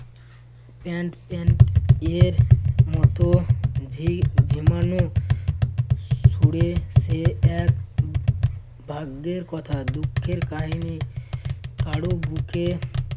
pant~ pant এর মতো ঝি~ ঝিমানো ছুড়ে সে এক ভাগ্যের কথা দুঃখের কাহিনী কারো বুকে